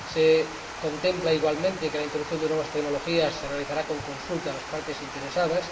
se contempla igualmente que la introducción de nuevas tecnologías se realizará con consulta a las partes interesadas